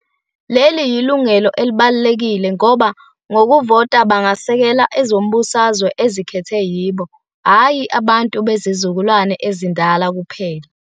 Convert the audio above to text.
Leli yilungelo elibalulekile ngoba, ngokuvota, bangasekela ezombusazwe ezikhethwe yibo hhayi abantu bezizukulwane ezindala kuphela.